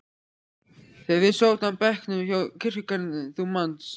þegar við sátum á bekknum hjá kirkjugarðinum, þú manst.